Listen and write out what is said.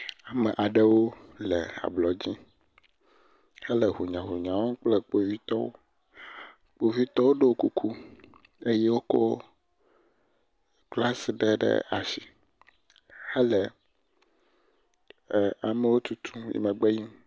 Ame aɖewo le ablɔdzi hele hunyanunya wɔm kple kpovitɔwo. Kpovitɔwo ɖo kuku eye wole glas ɖe ɖe asi hele amewo tutum le megbe yim.